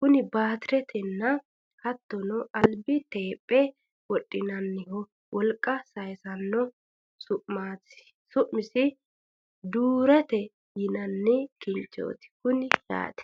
kunino baatiretenna hattono albi teephera wodhinanniho wolqa sayiisannoho su'masi duurata yinanni kinchooti kuni yaate